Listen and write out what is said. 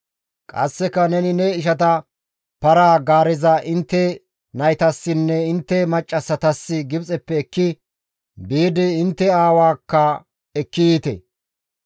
Qasseka neni ne ishata, ‹Para-gaareza intte naytassinne intte maccassatas Gibxeppe ekki biidi intte aawaakka ekki yiite.